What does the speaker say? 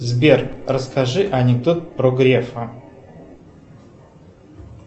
сбер расскажи анекдот про грефа